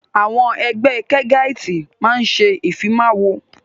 Àwọn Ẹgbẹ́ kẹgáitì máa ń ṣe ìfimawo